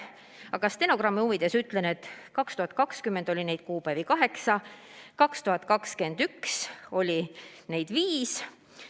Aga stenogrammi huvides ütlen, et aastal 2020 oli neid kuupäevi kaheksa, aastal 2021 aga viis.